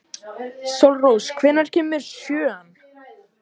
Sólrós, hvenær kemur sjöan?